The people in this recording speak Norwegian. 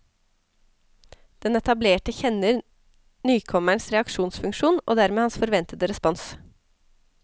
Den etablerte kjenner nykommerens reaksjonsfunksjon, og dermed hans forventede respons.